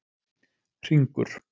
Hringur